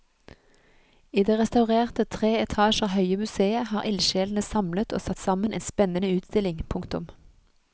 I det restaurerte tre etasjer høye museet har ildsjelene samlet og satt sammen en spennende utstilling. punktum